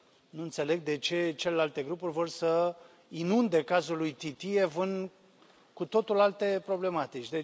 Nu înțeleg de ce celelalte grupuri vor să inunde cazul lui Titiev în cu totul alte problematici.